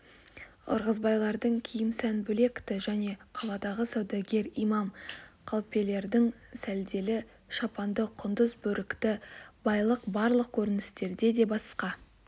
ырғызбайлардың киім сән бөлек-ті және қаладағы саудагер имам қалпелердің сәлделі шапанды құндыз бөрікті байлық барлық көріністер де басқа